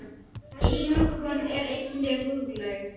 Einokun er einnig huglæg.